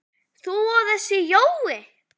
þú og þessi Jói?